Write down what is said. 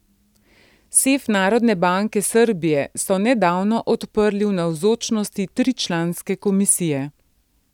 Sef Narodne banke Srbije so nedavno odprli v navzočnosti tričlanske komisije.